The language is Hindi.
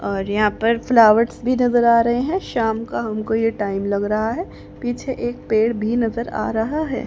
और यहां पर फ्लावर्स भी नजर आ रहे हैं शाम का हमको ये टाइम लग रहा है पीछे एक पेड़ भी नजर आ रहा है।